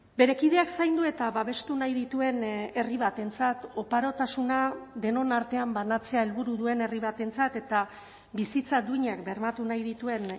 bere kideak zaindu eta babestu nahi dituen herri batentzat oparotasuna denon artean banatzea helburu duen herri batentzat eta bizitza duinak bermatu nahi dituen